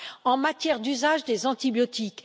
en matière d'usage des antibiotiques.